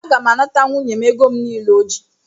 Aga m anata nwunye m ego m nile o ji